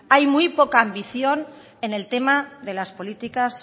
hay muy poca ambición en el tema de las políticas